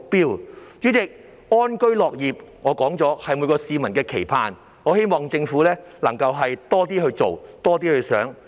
代理主席，安居樂業是每位市民的期盼，我希望政府能夠多做一些、多想一些。